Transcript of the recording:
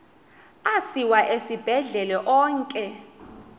asiwa esibhedlele onke